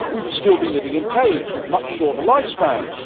We would still be living in caves with much shorter lifespans.